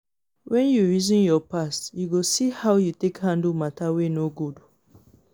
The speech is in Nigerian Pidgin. wen yu reason yur past yu go see how yu take handle mata wey no good